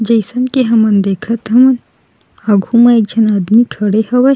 जइसन के हमन देखत हन आगू म एक झन आदमी खड़े हवे।